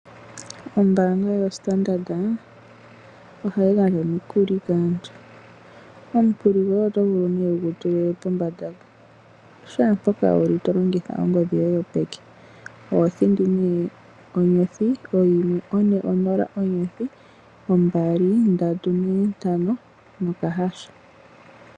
Ombanga yoStandard ohayi gandja omikuli kaantu. Omukuli goye oto vulu nee wugu tule pombanda mpo shaampoka wuli to longitha ongodhi yoye yopeke. Oho thindi nee onyothi oyimwe one nonola, onyothi ombali, ndatu neentano nokahasha.